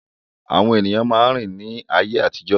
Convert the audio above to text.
Àwọn èèyàn máa ń rìn ní ayé àtijọ́